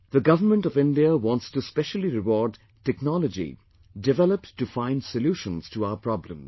The Government of India wants to specially reward technology developed to find solutions to our problems